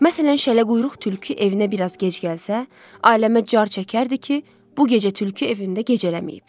Məsələn, şələquyruq tülkü evinə biraz gec gəlsə, aləmə car çəkərdi ki, bu gecə tülkü evində gecələməyib.